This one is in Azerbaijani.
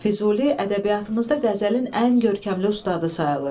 Füzuli ədəbiyyatımızda qəzəlin ən görkəmli ustadı sayılır.